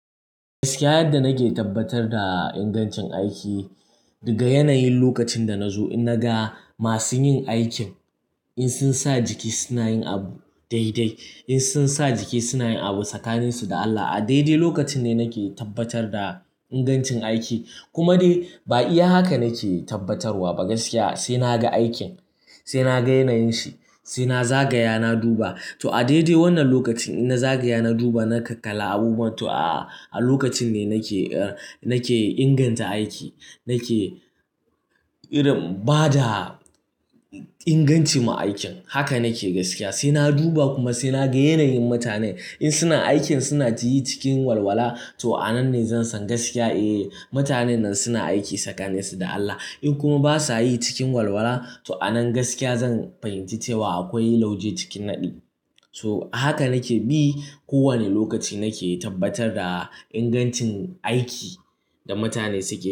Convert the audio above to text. Gaskiya yadda nake tabbatar da ingancin aiki, diga yanayin lokacin da na zo in naga masu yin aikin, in sun sa jiki suna yin abu daidai, in sun sa jiki suna yin abu tsakaninsu da Allah, a daidai lokacin ne nake tabbatar da ingancin aiki. Kuma dai ba iya haka nake tabbatarwa ba gaskiya, sai na ga aikin, sai na ga yanayin shi, sai na zagaya, na duba. To a daidai wannan lokacin in na zagaya, na duba, na ka-kalla abubuwan, to a-a lokacin ne nake eh, nake inganta aiki, nake irin bada inganci ma aikin. Haka nake gaskiya, sai na duba kuma sai na ga yanayin mutanen in suna aikin suna yi cikin walwala, to a nan ne zan san gaskiya, eh mutanen nan suna aiki tsakaninsu da Allah. In kuma ba sa yi cikin walwala, to a nan gaskiya zan fahimci cewa akwai lauje cikin naɗi. To haka nake bi, kowane lokaci nake tabbatar da ingancin aiki da mutane suke yi.